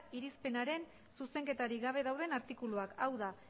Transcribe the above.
irizpenaren zuzenketarik gabe dauden artikuluak hau da